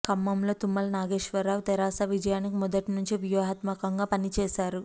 ఖమ్మంలో తుమ్మల నాగేశ్వరరావు తెరాస విజయానికి మొదటి నుంచీ వ్యూహాత్మకంగా పని చేశారు